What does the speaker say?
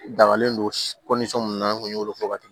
Dagalen don mun na n'o y'o fɔ waati